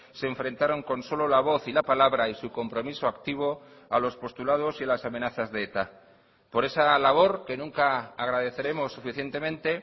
se enfrentaron con solo la voz y la palabra y su compromiso activo a los postulados y a las amenazas de eta por esa labor que nunca agradeceremos suficientemente